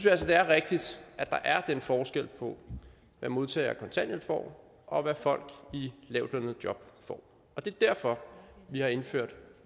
altså det er rigtigt at der er den forskel på hvad modtagere af kontanthjælp får og hvad folk i lavtlønnede jobs får og det er derfor vi har indført